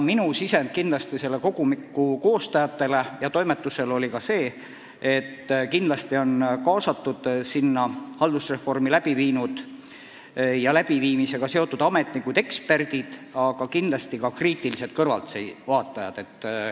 Minu sisend selle kogumiku koostajatele ja toimetusele oli, et kindlasti peavad sinna kaasatud olema haldusreformi läbi viinud ja läbiviimisega seotud ametnikud, eksperdid, aga ka kriitilised kõrvaltvaatajad.